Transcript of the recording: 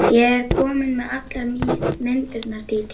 Ég er komin með allar myndirnar, Dídí.